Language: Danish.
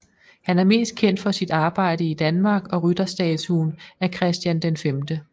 Han er mest kendt for sit arbejde i Danmark og rytterstatuen af Christian V